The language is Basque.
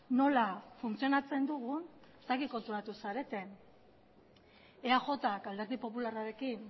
nola funtzionatzen dugun ez dakit konturatu zareten eajk alderdi popularrarekin